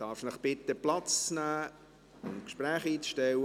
Darf ich Sie bitten, Platz zu nehmen und die Gespräche einzustellen?